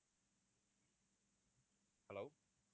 hello